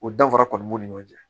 O danfara kɔni b'u ni ɲɔgɔn cɛ